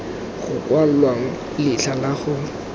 go kwalwang letlha la go